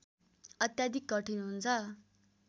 अत्याधिक कठिन हुन्छ